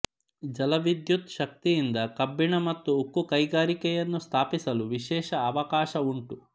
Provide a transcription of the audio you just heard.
ಜಲವಿದ್ಯುತ್ ಶಕ್ತಿಯಿಂದ ಕಬ್ಬಿಣ ಮತ್ತು ಉಕ್ಕು ಕೈಗಾರಿಕೆಯನ್ನು ಸ್ಥಾಪಿಸಲು ವಿಶೇಷ ಅವಕಾಶವುಂಟು